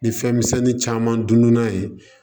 Ni fɛn misɛnnin caman dun dun na ye